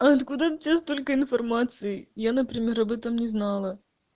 откуда у тебя столько информации я например об этом не знала